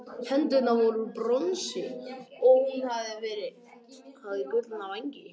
hendurnar voru úr bronsi og hún hafði gullna vængi